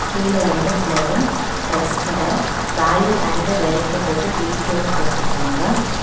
கீழ ரெண்டு ஃப்ளோரும் டிரஸ் கட வேல்யூ அண்ட் வெரைட்டி போட்டு வி_டு போட்டு இருக்காங்க.